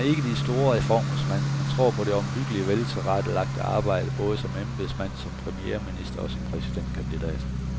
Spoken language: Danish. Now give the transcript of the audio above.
Han er ikke de store reformers mand, men tror på det omhyggelige, veltilrettelagte arbejde, både som embedsmand, som premierminister og som præsidentkandidat.